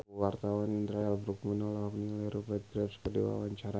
Indra L. Bruggman olohok ningali Rupert Graves keur diwawancara